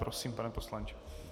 Prosím, pane poslanče.